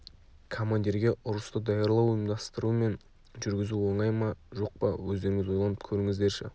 командирге ұрысты даярлау ұйымдастыру мен жүргізу оңай ма жоқ па өздеріңіз ойланып көріңіздерші